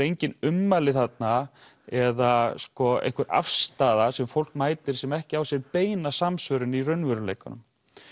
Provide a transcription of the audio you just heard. engin ummæli þarna eða einhver afstaða sem fólk mætir sem ekki á sér beina samsvörun í raunveruleikanum